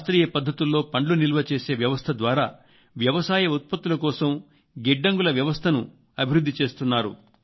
శాస్త్రీయ పద్ధతుల్లో పండ్లు నిల్వచేసే వ్యవస్థ ద్వారా వ్యవసాయ ఉత్పత్తుల కోసం గిడ్డంగుల వ్యవస్థను అభివృద్ధి చేస్తున్నారు